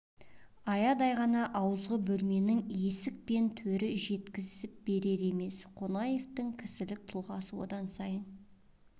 аядай ғана ауызғы бөлменің есік пен төрі жеткізіп берер емес қонаевтың кісілік тұлғасы одан сайын